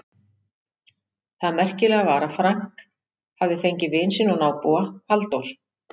Það merkilega var að Frank hafði fengið vin sinn og nábúa, Halldór